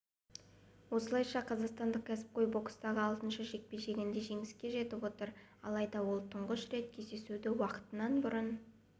осылайша қазақстандық кәсіпқой бокстағы алтыншы жекпе-жегінде жеңіске жетіп отыр алайда ол тұңғыш рет кездесуді уақытынан бұрын